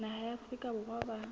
naha ya afrika borwa ba